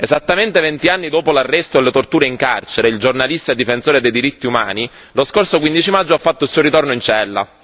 Esattamente vent'anni dopo l'arresto e le torture in carcere, il giornalista e difensore dei diritti umani lo scorso 15 maggio ha fatto il suo ritorno in cella.